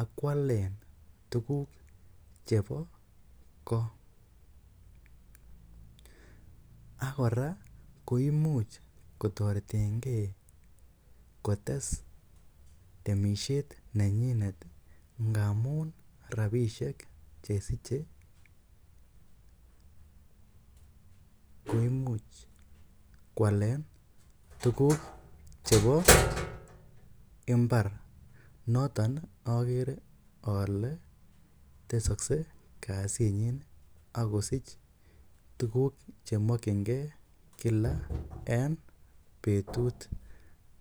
ak koalen tuguk chebo ko. Ak kora koimuch kotoretenge kotes temisiet nenyinet ngamun rabishek che siche koimuch koalen tuguk chebo mbar. Noton ogee ole tesokse kasinyin ak kosich tuguk ch emokinge kila en betut.